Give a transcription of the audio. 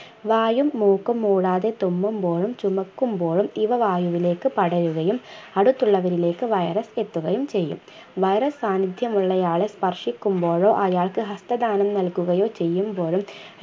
വായും മൂക്കും മൂടാതെ തുമ്മുമ്പോഴും ചുമയ്ക്കുമ്പോഴും ഇവ വായുവിലേക്ക് പടരുകയും അടുത്തുള്ളവരിലേക്ക് virus എത്തുകയും ചെയ്യും virus സാന്നിധ്യമുള്ളയാളെ സ്പർശിക്കുമ്പോഴോ അയാൾക്ക് ഹസ്തദാനം നൽകുകയോ ചെയ്യുമ്പോഴും